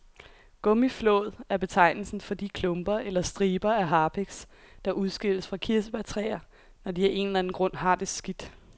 Gummiflåd er betegnelsen for de klumper eller striber af harpiks, der udskilles fra kirsebærtræer, når de af en eller anden grund har det skidt.